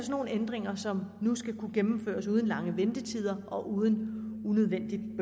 nogle ændringer som nu skal kunne gennemføres uden lange ventetider og uden unødvendigt